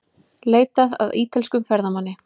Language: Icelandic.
Leitað að ítölskum ferðamanni